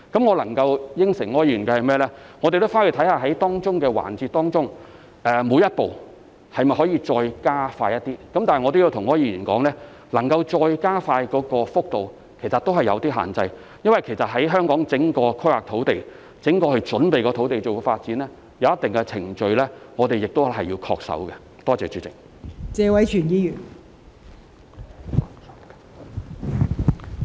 我能答應柯議員的是，我們會回去看看各個環節中的每一步能否再加快一點，但我亦要跟柯議員說，其實能夠再加快的幅度有限，因為在香港推行土地規劃、準備土地發展的項目時，我們必須恪守一定的程序。